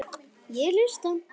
Ég hlusta.